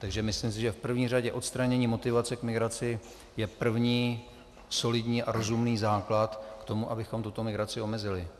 Takže myslím si, že v první řadě odstranění motivace k migraci je první solidní a rozumný základ k tomu, abychom tuto migraci omezili.